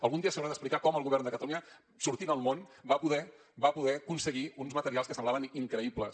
algun dia s’haurà d’explicar com el govern de catalunya sortint al món va poder aconseguir uns materials que semblaven increïbles